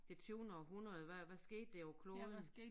Det tyvende århundrede hvad hvad skete der på kloden